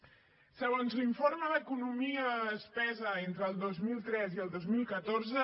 segons l’informe d’economia la despesa entre el dos mil tres i el dos mil catorze